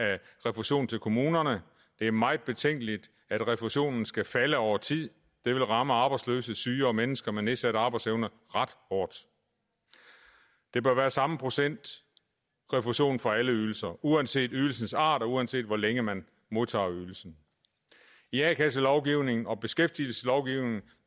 refusionen til kommunerne det er meget betænkeligt at refusionen skal falde over tid det vil ramme arbejdsløse syge og mennesker med nedsat arbejdsevne ret hårdt det bør være samme procent refusion for alle ydelser uanset ydelsens art og uanset hvor længe man modtager ydelsen i a kasselovgivningen og beskæftigelseslovgivningen